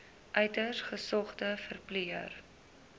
uiters gesogde verpleër